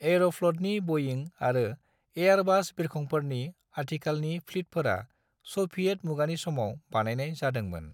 एरफ्लतनि बइंग आरो एयरबास बिरखंफोरनि आथिखालनि प्लितफोरा सभियेट मुगानि समाव बानायनाय जादोंमोन।